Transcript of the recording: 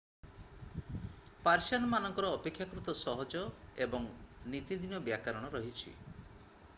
Persian ମାନଙ୍କର ଅପେକ୍ଷାକୃତ ସହଜ ଏବଂ ନୀତିଦିନ ବ୍ୟାକରଣ ରହିଛି